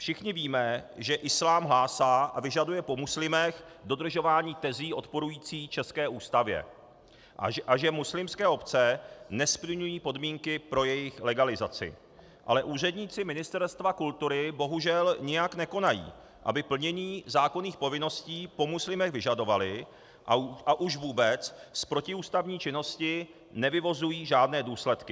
Všichni víme, že islám hlásá a vyžaduje po muslimech dodržování tezí odporujících české Ústavě a že muslimské obce nesplňují podmínky pro jejich legalizaci, ale úředníci Ministerstva kultury bohužel nijak nekonají, aby plnění zákonných povinností po muslimech vyžadovali, a už vůbec z protiústavní činnosti nevyvozují žádné důsledky.